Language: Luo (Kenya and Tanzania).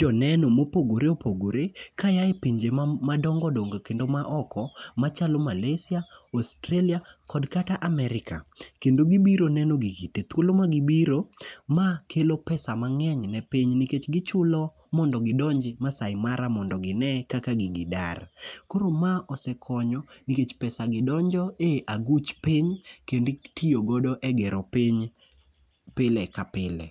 joneno mopogore opogore kaa e pinje madongo dongo kendo maoko machalo Malasia, Australia kod kata America kendo gibiro neno gigi thuolo ma gibiro ma kelo pesa mang'eny ni piny nikech gichulo mondo gidonj Maasai Mara mondo gine kaka gigi dar. Koro ma osekonyo nikech pesa donjo e aguch piny kendo itiyo godo e gero piny pile ka pile.